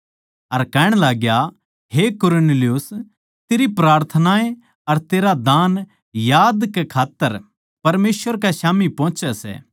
अर कहण लाग्या हे कुरनेलियुस तेरी प्रार्थनाएँ अर तेरे दान याद कै खात्तर परमेसवर कै स्याम्ही पोहोचे सै